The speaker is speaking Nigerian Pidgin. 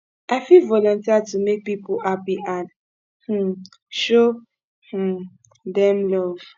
i fit volunteer to make people happy and um show um dem love